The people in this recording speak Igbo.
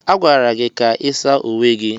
A gwara gị ka ị saa uwe gị!